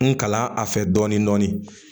N kalan a fɛ dɔɔnin dɔɔnin